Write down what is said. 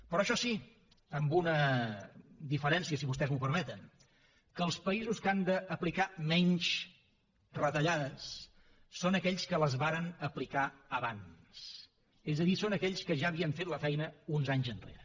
però això sí amb una diferència si vostès m’ho permeten que els països que han d’aplicar menys retallades són aquells que les varen aplicar abans és a dir són aquells que ja havien fet la feina uns anys enrere